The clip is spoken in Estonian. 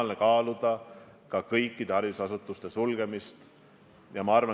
Me just ka valitsuse tasandil arutasime, mida haridusasutustega teha, kui selline teade peaks tulema.